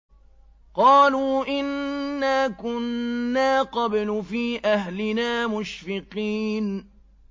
قَالُوا إِنَّا كُنَّا قَبْلُ فِي أَهْلِنَا مُشْفِقِينَ